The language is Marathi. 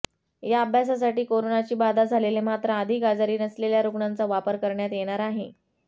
या अभ्यासासाठी कोरोनाची बाधा झालेले मात्र अधिक आजारी नसलेल्या रुग्णांचा वापर करण्यात येणार आहे